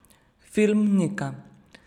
Film Nika.